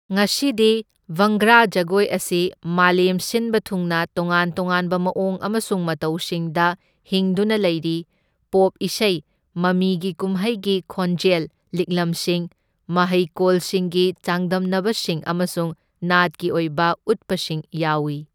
ꯉꯁꯤꯗꯤ ꯚꯪꯒ꯭ꯔꯥ ꯖꯒꯣꯏ ꯑꯁꯤ ꯃꯥꯂꯦꯝ ꯁꯤꯟꯕ ꯊꯨꯡꯅ ꯇꯣꯉꯥꯟ ꯇꯣꯉꯥꯟꯕ ꯃꯑꯣꯡ ꯑꯃꯁꯨꯡ ꯃꯇꯧꯁꯤꯡꯗ ꯍꯤꯡꯗꯨꯅ ꯂꯩꯔꯤ ꯄꯣꯞ ꯏꯁꯩ, ꯃꯃꯤꯒꯤ ꯀꯨꯝꯍꯩꯒꯤ ꯈꯣꯟꯖꯦꯜ ꯂꯤꯛꯂꯝꯁꯤꯡ, ꯃꯍꯩꯀꯣꯜꯁꯤꯡꯒꯤ ꯆꯥꯡꯗꯝꯅꯕꯁꯤꯡ ꯑꯃꯁꯨꯡ ꯅꯥꯠꯀꯤ ꯑꯣꯏꯕ ꯎꯠꯄꯁꯤꯡ ꯌꯥꯎꯢ꯫